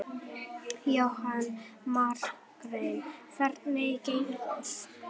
Jóhanna Margrét: Hvernig gengur?